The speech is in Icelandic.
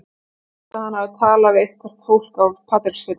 Mér skilst að hann hafi talað við eitthvert fólk á Patreksfirði.